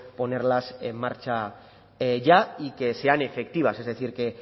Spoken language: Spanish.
ponerlas en marcha ya y que sean efectivas es decir que